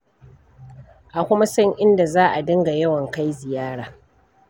A kuma san inda za a dinga yawan kai ziyara.